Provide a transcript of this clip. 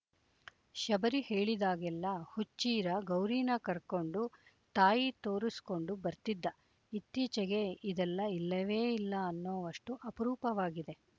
ಶಬರಿ ಹೇಳಿದಾಗೆಲ್ಲ ಹುಚ್ಚೀರ ಗೌರೀನ ಕರ್ಕೊಂಡು ತಾಯಿ ತೋರಿಸ್ಕಂಡು ಬರ್ತಿದ್ದ ಇತ್ತೀಚೆಗೆ ಇದೆಲ್ಲ ಇಲ್ಲವೇ ಇಲ್ಲ ಅನ್ನೋವಷ್ಟು ಅಪರೂಪವಾಗಿದೆ